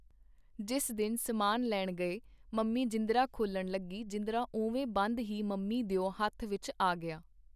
ਜਿਸ ਦਿਨ ਸਮਾਨ ਲੈਣ ਗਏ, ਮੰਮੀ ਜਿੰਦਰਾ ਖੋਲਣ ਲੱਗੀ ਜਿੰਦਰਾ ਓਵੇਂ ਬੰਦ ਹੀ ਮੰਮੀ ਦਿਓ ਹੱਥ ਵਿੱਚ ਆ ਗਿਆ.